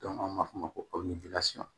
an b'a fɔ o ma ko